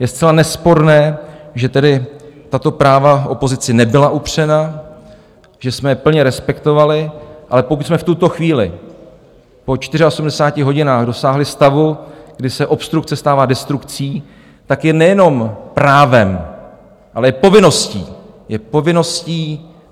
Je zcela nesporné, že tedy tato práva opozici nebyla upřena, že jsme je plně respektovali, ale pokud jsme v tuto chvíli po 84 hodinách dosáhli stavu, kdy se obstrukce stává destrukcí, tak je nejenom právem, ale je povinností - je povinností!